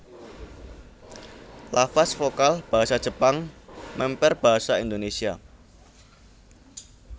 Lafaz vokal basa Jepang mèmper basa Indonésia